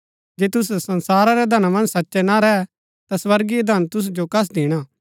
जे तुसै संसारा रै धना मन्ज सचै ना रै ता स्वर्गीय धन तुसु जो कस दिणा